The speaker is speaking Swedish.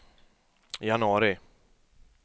januari